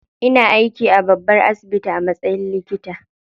Ina aiki a babban asibiti a matsayin likita.